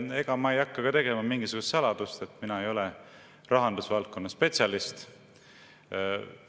Ega ma ei hakka tegema mingisugust saladust, et mina ei ole rahandusvaldkonna spetsialist.